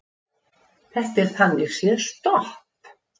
Þetta er þannig séð stopp